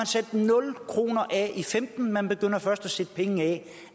sat nul kroner af i femten man begynder først at sætte penge af